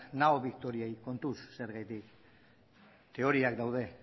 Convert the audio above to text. nao victoriari kontuz zergatik teoriak daude